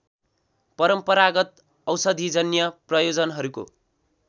परम्परागत औषधिजन्य प्रयोजनहरूको